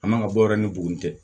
A man ka bɔ yɛrɛ ni buguni tɛ